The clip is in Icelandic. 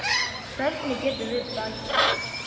Hvernig getum við bætt okkur?